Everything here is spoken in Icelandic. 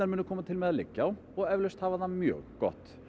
koma til með að liggja á og eflaust hafa það mjög gott